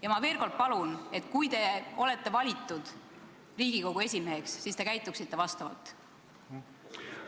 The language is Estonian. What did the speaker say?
Ja ma veel kord palun, et kui te olete valitud Riigikogu esimeheks, siis palun käituge vastavalt!